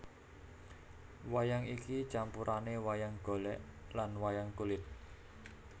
Wayang iki campurane wayang golek lan wayang kulit